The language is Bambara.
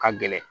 Ka gɛlɛn